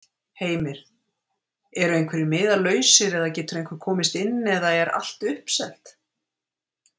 Heimir: Ertu einhverjir miðar lausir eða getur einhver komist inn eða er allt uppselt?